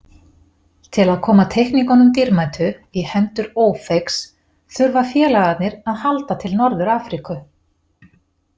Til að koma teikningunum dýrmætu í hendur „Ófeigs“ þurfa félagarnir að halda til Norður-Afríku.